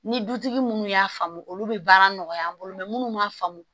Ni dutigi munnu y'a faamu olu be baara nɔgɔya an bolo munnu m'a faamu